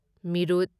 ꯃꯤꯔꯨꯠ